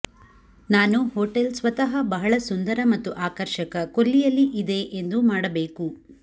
ನಾನು ಹೋಟೆಲ್ ಸ್ವತಃ ಬಹಳ ಸುಂದರ ಮತ್ತು ಆಕರ್ಷಕ ಕೊಲ್ಲಿಯಲ್ಲಿ ಇದೆ ಎಂದು ಮಾಡಬೇಕು